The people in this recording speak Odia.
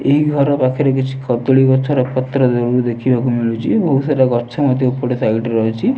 ଏହି ଘର ପାଖରେ କିଛି କଦଳି ଗଛ ର ପତ୍ର ଦୁରରୁ ଦେଖିବାକୁ ମିଳୁଚି। ବହୁତ୍ ସାରା ଗଛ ମଧ୍ୟ ଏପଟ ସାଇଡ୍ ରେ ଅଛି।